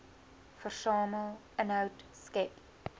versamel inhoud skep